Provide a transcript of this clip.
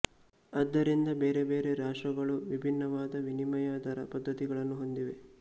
ಆದ್ದರಿಂದ ಬೇರ ಬೇರೆ ರಾಷ್ಟ್ರಗಳು ವಿಭಿನ್ನವಾದ ವಿನಿಮಯ ದರ ಪದ್ದತಿಗಳನ್ನು ಹೊಂದಿವೆ